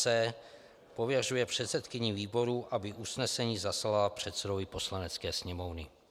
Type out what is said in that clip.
c) pověřuje předsedkyni výboru, aby usnesení zaslala předsedovi Poslanecké sněmovny.